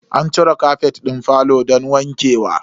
An cire kafet din falo don wanke wa.